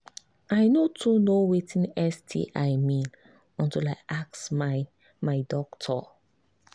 i no too know watin sti mean until i ask my my doctor